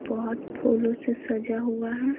बहुत फूलों से सजा हुआ है।